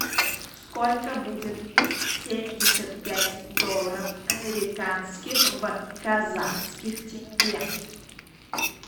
сколько будет семьдесят пять долларов американских в казахских тенге